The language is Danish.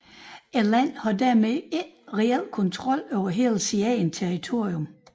Landet har således ikke reelt kontrol over hele sit eget territorium